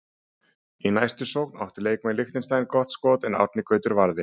Í næstu sókn áttu leikmenn Liechtenstein gott skoti en Árni Gautur varði.